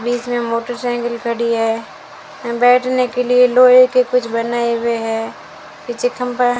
बीच में मोटोसाइकल खड़ी है बैठने के लिए लोहे के कुछ बनाए हुए है पीछे खंभा --